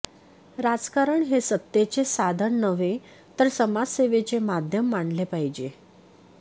राजकारण हे सत्तेचे साधन नव्हे तर समाजसेवेचे माध्यम मानले पाहिजे